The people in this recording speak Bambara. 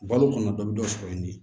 Balo kɔni dɔ bɛ dɔ sɔrɔ yen de